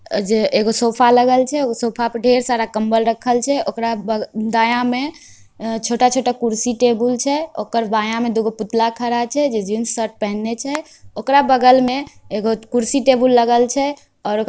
अजे ए सोफा लगल छे सोफा पर ढेर सारा कम्बल रखल छे ओकर बग दाएं में छोटा-छोटा कुर्सी-टेबल छे ओकर बाएं में दोगो पुतला खड़ा छे जे जीन्स शर्ट पेहनल छे। ओकर बगल में एगो कुर्सी-टेबुल लागेल छे ओकर --